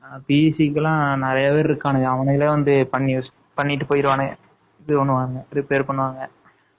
PC க்கு எல்லாம் நிறைய பேர் இருக்கானுங்க. அவனுங்களே வந்து, பண்ணிட்டு போயிருவானுங்க. இப்படி பண்ணுவாங்க, repair பண்ணுவாங்க